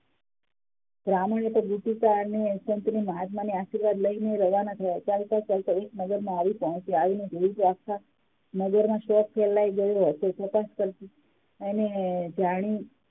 બ્રાહ્મણે તો અને સંત મહાત્મા ના આશીર્વાદ લઇ ને રવાના થયા ચાલતો ચાલતો એક નગર માં આવી પહોંચ્યો. આવીને જોયું કે આખા નગર માં ફેલાઈ ગયો હતો તાપસ કરતા એણે જાણ્યુ